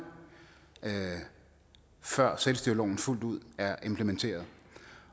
før selvstyreloven fuldt ud er implementeret